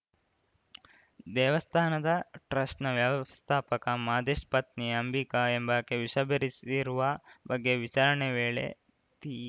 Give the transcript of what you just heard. ದೇವಸ್ಥಾನದ ಟ್ರಸ್ಟ್‌ ನ ವ್ಯವಸ್ಥಾಪಕ ಮಾದೇಶ್‌ ಪತ್ನಿ ಅಂಬಿಕಾ ಎಂಬಾಕೆ ವಿಷ ಬೆರೆಸಿರುವ ಬಗ್ಗೆ ವಿಚಾರಣೆ ವೇಳೆ ತೀ